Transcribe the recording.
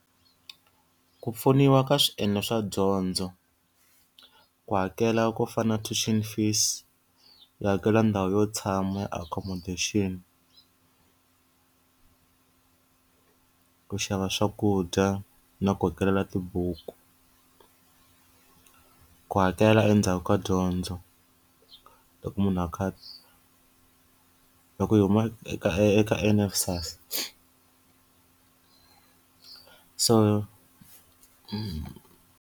Ku pfuniwa ka swiendlo swa dyondzo, ku hakela ku fana na tuition fees, yi hakela ndhawu yo tshama ya accommodation. Ku xava swakudya na ku ku hakelela tibuku. Ku hakela endzhaku ka dyondzo, loko munhu a kha loko hi huma eka eka NSFAS so .